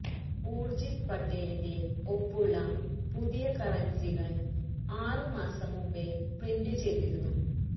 ഊർജിത് പട്ടേലിന്റെ ഒപ്പുള്ള പുതിയ കറൻസികൾ ആറ് മാസം മുൻപേ പ്രിന്റ് ചെയ്തിരുന്നു